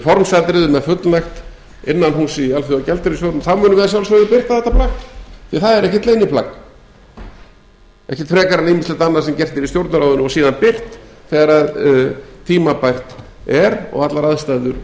formsatriðum er fullnægt innanhúss í alþjóðagjaldeyrissjóðnum þá munum við að sjálfsögðu birta þetta plagg því það er ekkert leyniplagg ekkert frekar en ýmislegt annað sem gert er í stjórnarráðinu og síðan birt þegar tímabært er og allar aðstæður